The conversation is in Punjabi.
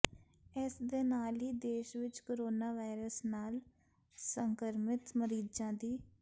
ਇਸ ਦੇ ਨਾਲ ਹੀ ਦੇਸ਼ ਵਿੱਚ ਕੋਰੋਨਾ ਵਾਇਰਸ ਨਾਲ ਸੰਕਰਮਿਤ ਮਰੀਜ਼ਾਂ ਦੀ